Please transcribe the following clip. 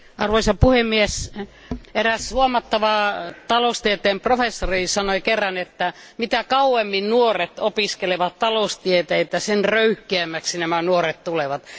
Arvoisa puhemies, eräs huomattava taloustieteen professori sanoi kerran, että mitä kauemmin nuoret opiskelevat taloustieteitä, sitä röyhkeämmäksi he tulevat.